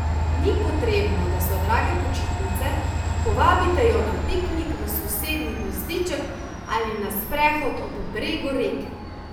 Ni potrebno, da so drage počitnice, povabite jo na piknik v sosednji gozdiček ali na sprehod ob bregu reke.